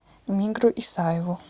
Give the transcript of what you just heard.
мигру исаеву